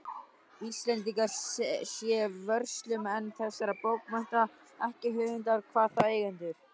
Íslendingar séu vörslumenn þessara bókmennta, ekki höfundar, hvað þá eigendur.